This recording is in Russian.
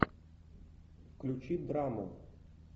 включи драму